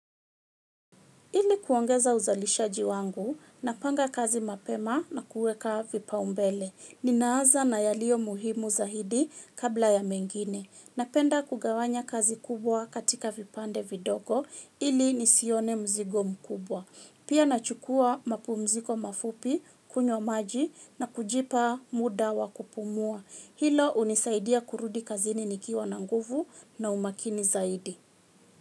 Ili kuongeza uzalishaji wangu, napanga kazi mapema na kuweka vipaumbele. Ninaanza na yalio muhimu zaidi kabla ya mengine. Napenda kugawanya kazi kubwa katika vipande vidogo ili nisione mzigo mkubwa. Pia nachukua mapumziko mafupi, kunywa maji na kujipa muda wa kupumua. Hilo hunisaidia kurudi kazini nikiwa na nguvu na umakini zaidi.